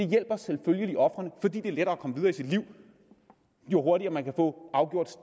hjælper selvfølgelig ofrene fordi det er lettere at komme videre i sit liv jo hurtigere man kan få afgjort